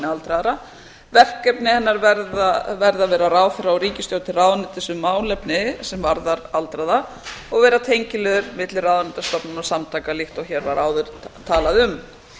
aldraðra verkefni hennar verða að vera ráðherra og ríkisstjórn til ráðuneytis um málefni sem varðar aldraða og vera tengiliður milli ráðuneyta stofnana og samtaka líkt og hér var áður talað um